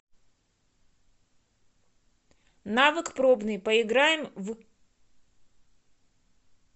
навык пробный поиграем в